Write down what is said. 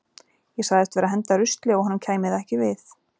Ég sagðist vera að henda rusli og að honum kæmi það ekki við.